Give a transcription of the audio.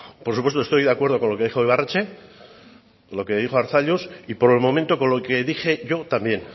por supuesto estoy de acuerdo con lo que dijo ibarretxe con lo que dijo arzalluz y por el momento con lo que dije yo también